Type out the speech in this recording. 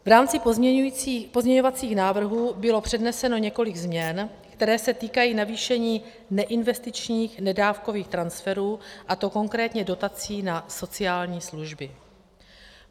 V rámci pozměňovacích návrhů bylo předneseno několik změn, které se týkají navýšení neinvestičních nedávkových transferů, a to konkrétně dotací na sociální služby.